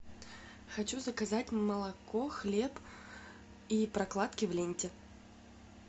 хочу заказать молоко хлеб и прокладки в ленте